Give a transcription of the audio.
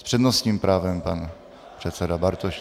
S přednostním právem pan předseda Bartošek.